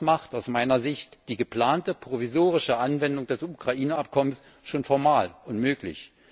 Das macht aus meiner Sicht die geplante provisorische Anwendung des Ukraine Abkommens schon formal unmöglich.